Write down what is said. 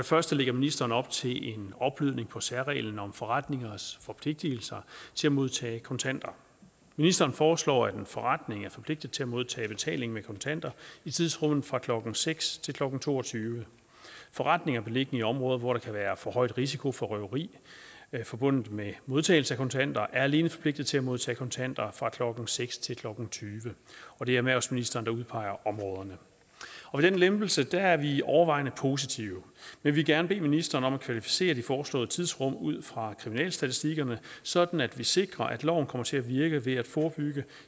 første lægger ministeren op til en opblødning af særreglen om forretningers forpligtigelser til at modtage kontanter ministeren foreslår at en forretning er forpligtet til at modtage betaling med kontanter i tidsrummet fra klokken nul seks til klokken to og tyve forretninger beliggende i områder hvor der kan være forhøjet risiko for røveri forbundet med modtagelse af kontanter er alene forpligtet til at modtage kontanter fra klokken nul seks til klokken tyve og det er erhvervsministeren der udpeger områderne den lempelse er vi overvejende positive vi vil gerne bede ministeren om at kvalificere de foreslåede tidsrum ud fra kriminalstatistikkerne sådan at vi sikrer at loven kommer til at virke ved at forebygge